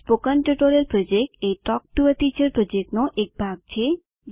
spoken tutorial project a talk to a teacher પ્રોજેક્ટનો એક ભાગ છે